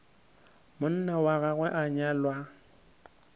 monna wa gagwe a nyala